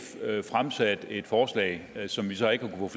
fremsat et forslag som vi så ikke kunne